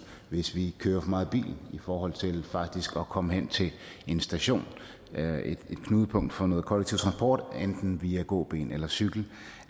hvis vi kører for meget i bil i forhold til faktisk at komme hen til en station et knudepunkt for noget kollektiv transport enten via gåben eller cykel